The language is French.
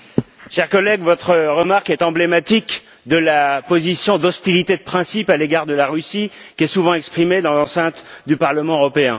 Cher collègue, votre remarque est emblématique de la position d'hostilité de principe à l'égard de la Russie qui est souvent exprimée dans l'enceinte du Parlement européen.